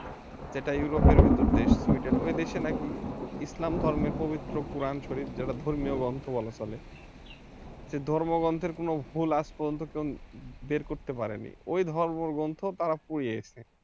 সেটা europe র ভিতর দেশ সুইডেন ওই দেশে নাকি ইসলাম ধর্মের পবিত্র কুরআন শরীফ যেটা ধর্মীয় গ্রন্থ বলা চলে সেই ধর্মগ্রন্থের কোন ভুল আজ পর্যন্ত কেউ বের করতে পারেনি ওই ধর্ম গ্রন্থ তারা পুড়িয়েছে